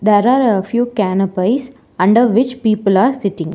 There are few canpives under which people are sitting.